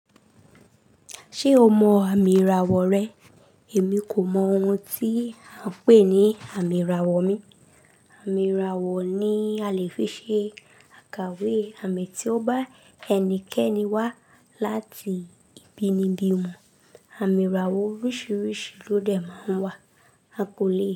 Ṣé o mọ àmì ìràwọ̀ rẹ? Èmi kò mọ ohun tí à ń pè ní àmì ìràwọ̀ mi. Àmì ìràwọ̀ ni a lè fi ṣe àkàwé àmì tí ó bá ẹnikẹ́ni wá láti ibi nibi mọ̀. Àmì ìràwọ̀ oríṣìíríṣìí ló dẹ̀ máa ń wà, a kò lè.